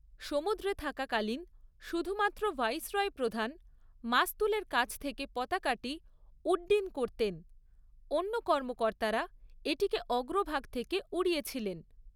সমুদ্রে থাকাকালীন শুধুমাত্র ভাইসরয় প্রধান মাস্তুলের কাছ থেকে পতাকাটি উড্ডীন করতেন, অন্য কর্মকর্তারা এটিকে অগ্রভাগ থেকে উড়িয়েছিলেন।